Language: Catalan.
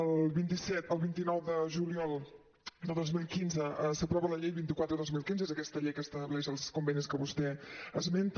el vint nou de juliol de dos mil quinze s’aprova la llei vint quatre dos mil quinze és aquesta llei que estableix els convenis que vostè esmenta